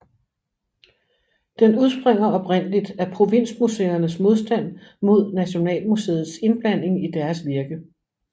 Den udspringer oprindeligt af provinsmuseernes modstand mod Nationalmuseets indblanding i deres virke